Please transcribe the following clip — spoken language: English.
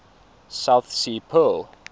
south sea pearl